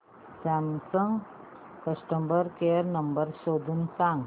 Samsung customer care number शोधून सांग